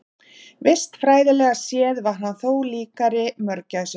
Vistfræðilega séð var hann þó líkari mörgæsum.